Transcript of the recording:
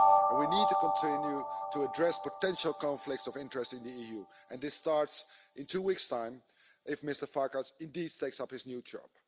We need to continue to address potential conflicts of interest in the EU, and this starts in two weeks' time if Mr Farkas indeed takes up his new job.